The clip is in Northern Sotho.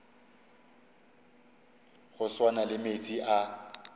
go swana le meetse a